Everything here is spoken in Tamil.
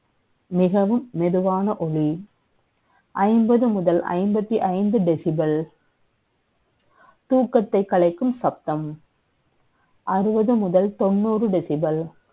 மிகவும் மெ துவான ஒளி. ஐம்பது முதல் ஐம்பத்தி ஐந்து decibel தூக்கத்தை க் கலை க்கும் சத்தம். அறுபது முதல் த ொண்ணூறு decibel